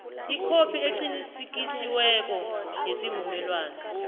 ikhophi eqinisekisiweko yesivumelwano